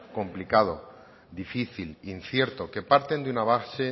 complicado difícil incierto que parten de una base